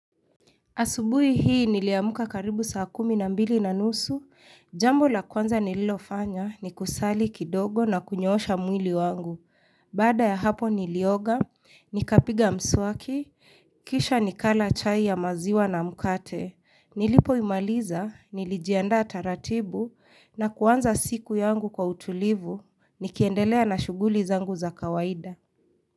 Asubui hii niliamuka karibu saa kumi na mbili na nusu, jambo la kwanza nililofanya ni kusali kidogo na kunyoosha mwili wangu. Baada ya hapo nilioga, nikapiga mswaki, kisha nikala chai ya maziwa na mkate, nilipo imaliza, nilijiendaa taratibu na kwanza siku yangu kwa utulivu, nikiendelea na shuguli zangu za kawaida.